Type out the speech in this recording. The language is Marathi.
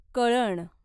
कळण